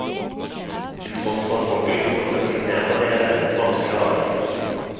Til tross for at folk lytter og respekterer meg er dette et vanskelig arbeid.